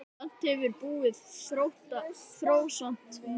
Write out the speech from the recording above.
Samt hefur búðin þróast mikið.